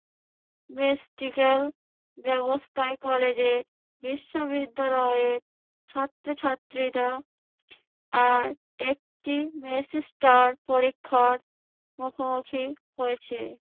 practical ব্যবস্থায় কলেজে বিশ্ববিদ্যালয়ে ছাত্রছাত্রীরা আর একটি semester পরীক্ষার মুখোমুখি হয়েছে।